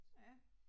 Ja